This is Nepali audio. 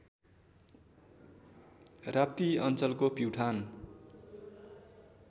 राप्ती अञ्चलको प्युठान